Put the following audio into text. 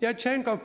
jeg tænker